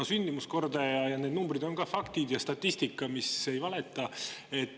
No sündimuskordaja ja need numbrid on ka faktid, statistika, mis ei valeta.